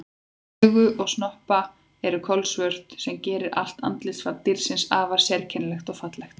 Augu og snoppa eru kolsvört sem gerir allt andlitsfall dýrsins afar sérkennilegt og fallegt.